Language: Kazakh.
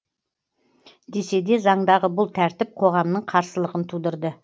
десе де заңдағы бұл тәртіп қоғамның қарсылығын тудырды